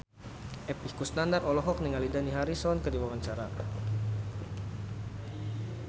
Epy Kusnandar olohok ningali Dani Harrison keur diwawancara